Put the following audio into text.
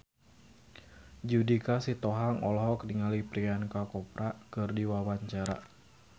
Judika Sitohang olohok ningali Priyanka Chopra keur diwawancara